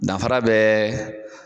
Danfara bɛ